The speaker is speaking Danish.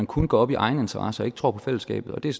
kun går op i egeninteresser og ikke tror på fællesskabet det er